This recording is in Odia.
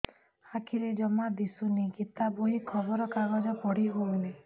ଆଖିରେ ଜମା ଦୁଶୁନି ଗୀତା ବହି ଖବର କାଗଜ ପଢି ହଉନି